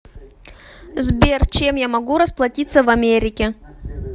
сбер чем я могу расплатиться в америке